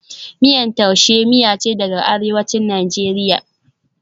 Miyan Tuase miya ce daga Arewacin Najeriya,